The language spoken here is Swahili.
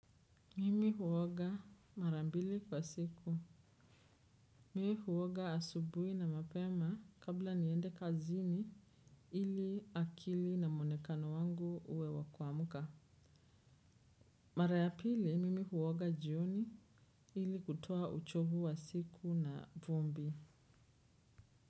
Mimi huoga mara mbili kwa siku. Mimi huoga asubuhi na mapema kabla niende kazini ili akili na muonekano wangu uwe wa kuamka. Mara ya pili, mimi huoga jioni ili kutoa uchovu wa siku na vumbi.